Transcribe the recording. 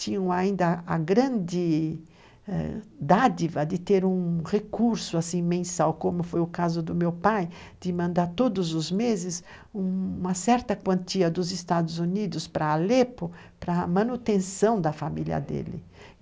tinham ainda a grande dádiva ãh de ter um recurso assim mensal, como foi o caso do meu pai, de mandar todos os meses uma certa quantia dos Estados Unidos para Alepo para a manutenção da família dele.